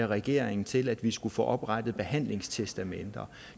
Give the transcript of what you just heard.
regeringen til at vi skulle få oprettet behandlingstestamenter